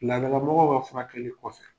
Ladala mɔgɔw ka furakɛli kɔfɛ.